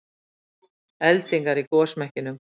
Eldingar í gosmekkinum